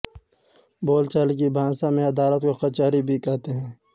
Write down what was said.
बोलचाल की भाषा में अदालत को कचहरी भी कहते हैं